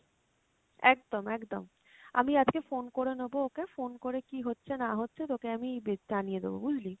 একদম একদম, আমি আজকে phone করে নেবো ওকে, phone করে কী হচ্ছে না হচ্ছে তোকে আমি জানিয়ে দেবো বুঝলি?